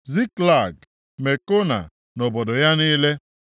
Ziklag, Mekona na obodo ya niile,